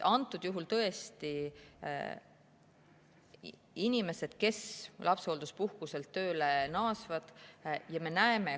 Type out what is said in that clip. Antud juhul tõesti me räägime inimestest, kes lapsehoolduspuhkuselt tööle naasevad.